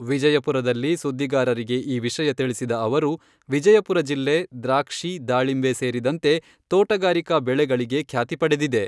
ವಿಜಯಪುರದಲ್ಲಿ ಸುದ್ದಿಗಾರರಿಗೆ ಈ ವಿಷಯ ತಿಳಿಸಿದ ಅವರು, ವಿಜಯಪುರ ಜಿಲ್ಲೆ ದ್ರಾಕ್ಷಿ, ದಾಳಿಂಬೆ ಸೇರಿದಂತೆ ತೋಟಗಾರಿಕಾ ಬೆಳೆಗಳಿಗೆ ಖ್ಯಾತಿ ಪಡೆದಿದೆ.